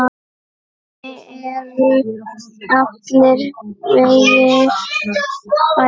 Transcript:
Henni eru allir vegir færir.